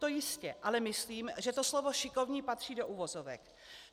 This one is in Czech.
To jistě, ale myslím, že to slovo šikovní patří do uvozovek.